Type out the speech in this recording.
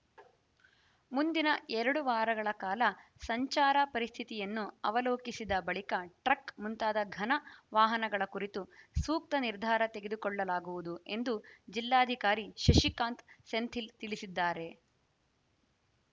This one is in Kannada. ಮುಂದಿನ ಎರಡು ವಾರಗಳ ಕಾಲ ಸಂಚಾರ ಪರಿಸ್ಥಿತಿಯನ್ನು ಅವಲೋಕಿಸಿದ ಬಳಿಕ ಟ್ರಕ್‌ ಮುಂತಾದ ಘನ ವಾಹನಗಳ ಕುರಿತು ಸೂಕ್ತ ನಿರ್ಧಾರ ತೆಗೆದುಕೊಳ್ಳಲಾಗುವುದು ಎಂದು ಜಿಲ್ಲಾಧಿಕಾರಿ ಸಸಿಕಾಂತ್‌ ಸೆಂಥಿಲ್‌ ತಿಳಿಸಿದ್ದಾರೆ